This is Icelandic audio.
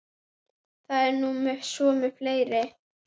Það er nú svo með fleiri.